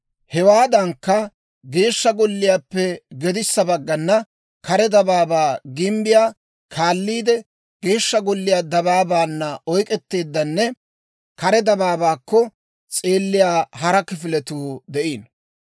Hewaadankka, Geeshsha Golliyaappe gedissa baggana kare dabaabaa gimbbiyaa kaaliide Geeshsha Golliyaa dabaabaanna oyk'k'eteeddanne kare dabaabaakko s'eeliyaa hara kifiletuu de'iino.